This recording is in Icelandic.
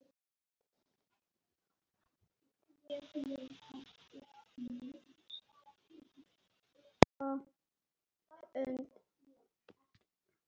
Ég ætlaði að kaupa hund.